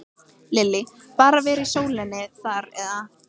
Lillý: Bara að vera í sólinni þar eða?